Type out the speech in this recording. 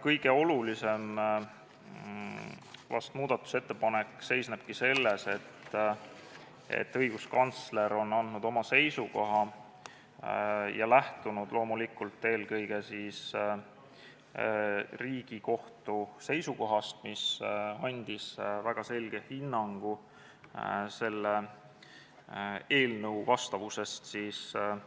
Kõige olulisem muudatusettepanek seisneb selles, et õiguskantsler on andnud oma seisukoha ja lähtunud loomulikult eelkõige Riigikohtu seisukohast, mis andis väga selge hinnangu selle eelnõu vastavuse kohta